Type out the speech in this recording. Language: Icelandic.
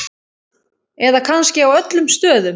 Eða kannski á öllum stöðum?